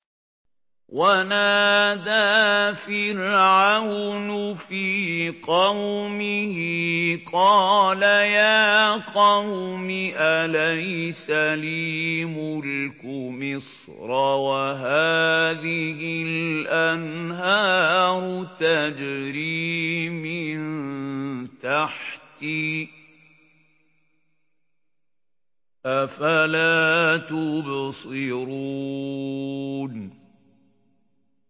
وَنَادَىٰ فِرْعَوْنُ فِي قَوْمِهِ قَالَ يَا قَوْمِ أَلَيْسَ لِي مُلْكُ مِصْرَ وَهَٰذِهِ الْأَنْهَارُ تَجْرِي مِن تَحْتِي ۖ أَفَلَا تُبْصِرُونَ